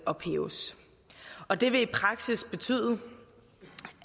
ophæves og det vil i praksis betyde